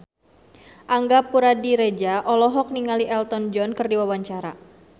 Angga Puradiredja olohok ningali Elton John keur diwawancara